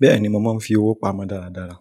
Bẹ́ẹ̀ni, mo máa ń fi owó pamọ́ dára dára,